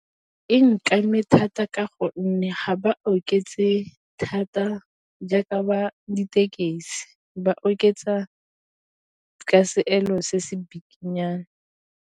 E thata ka gonne ga ba oketse thata jaaka ba ditekesi, ba oketsa ka seelo se se bikinyana.